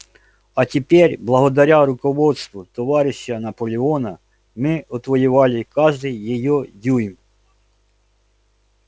а теперь благодаря руководству товарища наполеона мы отвоевали каждый её дюйм